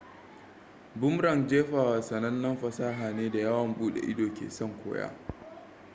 boomerang jefawa sanannen fasaha ne da yawon bude ido ke son koya